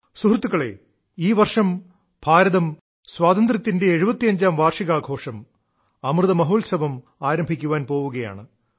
സുഹൃത്തുക്കളേ ഈ വർഷം ഭാരതം സ്വാതന്ത്ര്യത്തിന്റെ 75ാം വാർഷികാഘോഷം അമൃതമഹോത്സവം ആരംഭിക്കാൻ പോവുകയാണ്